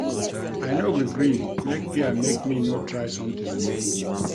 I no go gree make fear make me no try sometin new.